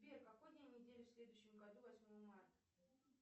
сбер какой день недели в следующем году восьмого марта